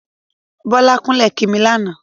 Bọ́lá kúnlẹ̀ kí mi lánàá.